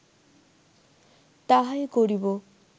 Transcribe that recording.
তাহাই করিব